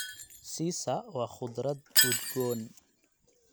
Sisa waa khudrad udgoon.